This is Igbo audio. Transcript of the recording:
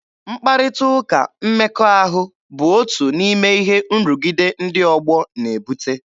Mkparịta ụka mmekọahụ bụ otu n'ime ihe nrụgide ndị ọgbọ na-ebute.